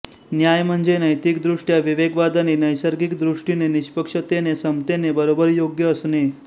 न्याय म्हणजे नैतिक दृष्ट्या विवेकवादाने नैसर्गिकदृष्टीने निष्पक्षतेने समतेने बरोबरयोग्य असणे